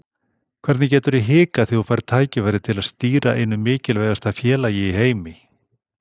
Hvernig geturðu hikað þegar þú færð tækifæri til að stýra einu mikilvægasta félagi í heimi?